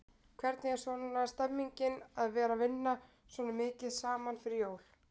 Hvernig er svona stemningin að vera vinna svona mikið saman fyrir jól?